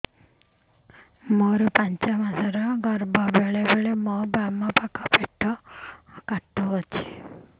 ମୋର ପାଞ୍ଚ ମାସ ର ଗର୍ଭ ବେଳେ ବେଳେ ମୋ ବାମ ପାଖ ପେଟ ବଥା ହଉଛି